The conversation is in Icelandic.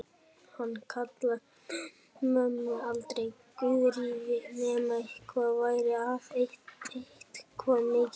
Hann kallaði mömmu aldrei Guðríði nema eitthvað væri að, eitthvað mikið.